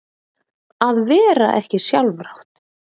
Að vera ekki sjálfrátt